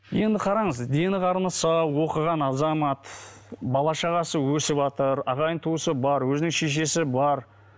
енді қараңыз дені қарны сау оқыған азамат бала шағасы өсіватыр ағайын туысы бар өзінің шешесі бар